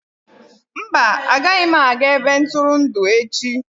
Mba, agaghị m aga ebe ntụrụndụ echi.